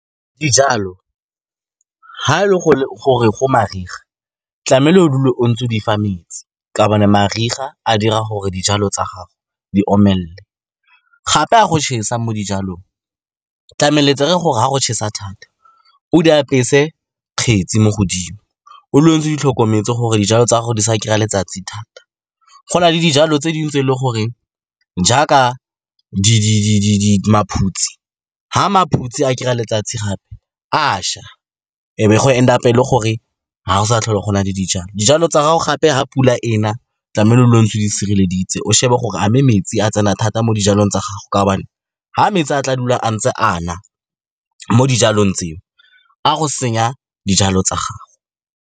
Dijalo ga e le gore go mariga, tlamehile o dule o ntse o di fa metsi ka gobane mariga a dira gore dijalo tsa gago di omelele, gape ga go tšhesa mo dijalong, tlamehile le gore ga go tšhesa thata, o di apese kgetsi mo godimo, o dule o ntse o di tlhokometse gore dijalo tsa gago di sa kry-a letsatsi thata. Go na le dijalo tse dingwe tse e leng gore, jaaka maphutse, ga maphutse a kry-a letsatsi gape a ša, e be go and up-a, e le gore ga go sa tlhole gona le dijalo. Dijalo tsa gago gape, ga pula ena, tlamehile o ntse o di sireleditse, o shebe gore a mme metsi a tsena thata mo dijalong tsa gago ka gobane ga metsi a tla dula a ntse a na mo dijalong tseo, a go senya dijalo tsa gago.